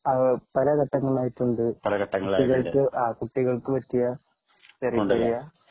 ആഹ് പല ഘട്ടങ്ങളായിട്ടു ഉണ്ട് കുട്ടികൾക്ക് പറ്റിയ ചെറിയ ചെറിയ